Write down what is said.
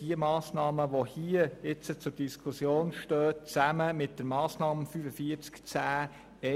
Die hier zur Diskussion stehenden Massnahmen stehen in Zusammenhang mit der Massnahme 45.10.1.